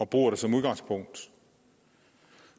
bruger det som udgangspunkt